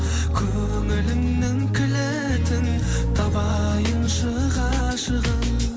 көңілімнің кілтін табайыншы ғашығым